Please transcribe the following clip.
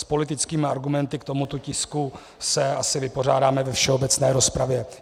S politickými argumenty k tomuto tisku se asi vypořádáme ve všeobecné rozpravě.